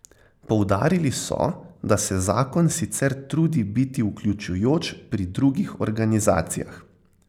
Poudarili so, da se zakon sicer trudi biti vključujoč pri drugih organizacijah.